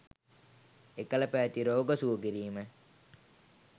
එකළ පැවති රෝග සුව කිරීම